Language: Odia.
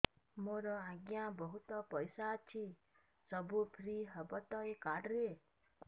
ମୋର ଆଜ୍ଞା ବହୁତ ପଇସା ଅଛି ସବୁ ଫ୍ରି ହବ ତ ଏ କାର୍ଡ ରେ